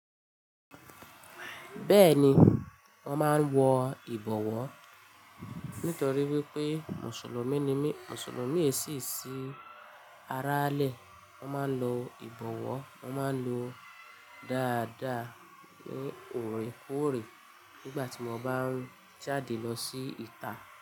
Bẹ́ẹ̀ni, wọ́n máa ń wọ ìbọwọ́. Nítorí wípé Mùsùlùmí ni mí, Mùsùlùmí èsì sí arálẹ̀. Wọ́n máa ń lo ìbọwọ́, wọ́n máa ń lo dáadáa ní òrèkóòrè nígbà tí wọ́n bá ń jáde lọ sí ìta.